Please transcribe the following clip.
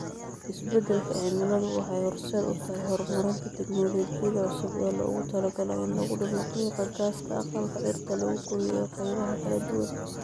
Isbeddelka cimiladu waxay horseed u tahay horumarinta tignoolajiyada cusub ee loogu talagalay in lagu dhimo qiiqa gaaska aqalka dhirta lagu koriyo ee qaybaha kala duwan.